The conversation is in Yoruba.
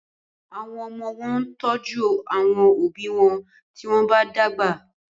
Àwọn omo wón tọjú àwọn òbí wón tí wón bá dàgbà.